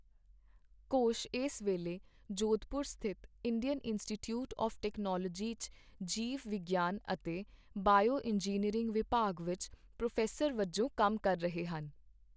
ਘੋਸ਼ ਇਸ ਵੇਲੇ ਜੋਧਪੁਰ ਸਥਿਤ ਇੰਡੀਅਨ ਇੰਸਟੀਚਿਊਟ ਆਵ੍ ਟੈਕਨੋਲੋਜੀ ਚ ਜੀਵ ਵਿਗਿਆਨ ਅਤੇ ਬਾਇਓ ਇੰਜੀਨੀਅਰਿੰਗ ਵਿਭਾਗ ਵਿੱਚ ਪ੍ਰੋਫ਼ੈਸਰ ਵਜੋਂ ਕੰਮ ਕਰ ਰਹੇ ਹਨ।